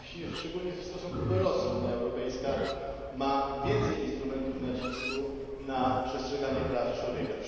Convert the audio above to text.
A właśnie szczególnie w stosunku do Rosji Unia Europejska ma więcej instrumentów nacisku w kwestii przestrzegania praw człowieka.